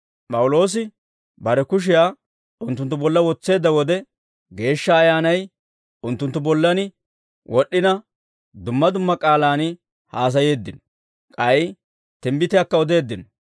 P'awuloosi bare kushiyaa unttunttu bolla wotseedda wode Geeshsha Ayyaanay unttunttu bollan wod'd'ina, dumma dumma k'aalaan haasayeeddino; k'ay timbbitiyaakka odeeddino.